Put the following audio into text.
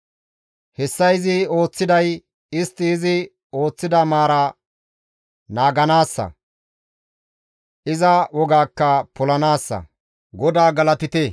Hessa izi ooththiday istti izi woththida maara naaganaassa; iza wogaakka polanaassa. GODAA galatite!